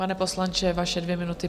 Pane poslanče, vaše dvě minuty.